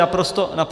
Naprosto nic.